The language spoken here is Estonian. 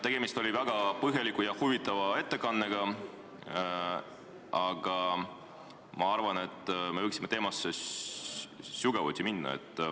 Tegemist oli väga põhjaliku ja huvitava ettekandega, aga ma arvan, et me võiksime teemasse sügavuti minna.